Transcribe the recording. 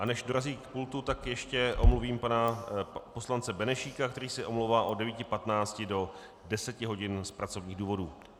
A než dorazí k pultu, tak ještě omluvím pana poslance Benešíka, který se omlouvá od 9.15 do 10 hodin z pracovních důvodů.